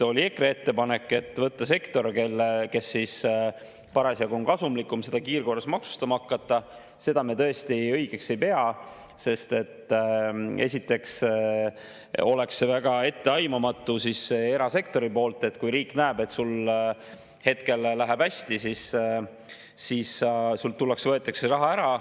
EKRE ettepanekut võtta sektor, kes parasjagu on kasumlikum, ja hakata seda kiirkorras maksustama, me tõesti õigeks ei pea, sest esiteks oleks see väga etteaimamatu erasektorile: kui riik näeb, et sul hetkel läheb hästi, siis tullakse ja võetakse raha ära.